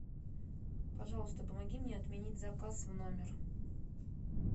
пожалуйста помоги мне отменить заказ в номер